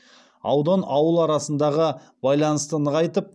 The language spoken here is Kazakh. аудан ауыл арасындағы байланысты нығайтып